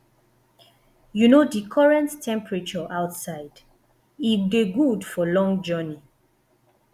you know di current temperature outside e dey good for long journey